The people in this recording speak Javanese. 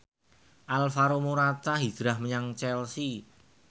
Alvaro Morata hijrah menyang Chelsea